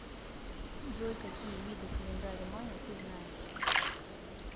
джой какие виды календарь майя ты знаешь